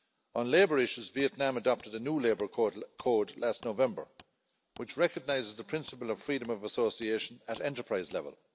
On labour issues, Vietnam adopted a new labour code last November, which recognises the principle of freedom of association at enterprise level.